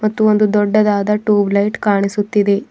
ಮತ್ತು ಒಂದು ದೊಡ್ಡದಾದ ಟ್ಯೂಬ್ಲೈಟ್ ಕಾಣಿಸುತ್ತಿದೆ.